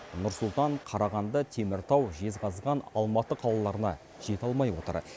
нұр сұлтан қарағанды теміртау жезқазған алматы қалаларына жете алмай отыр